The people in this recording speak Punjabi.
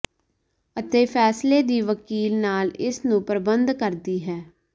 ਅਤੇ ਫ਼ੈਸਲੇ ਦੀ ਵਕੀਲ ਨਾਲ ਇਸ ਨੂੰ ਪ੍ਰਬੰਧ ਕਰਦੀ ਹੈ